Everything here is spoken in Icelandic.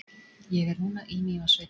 ég er núna í mývatnssveit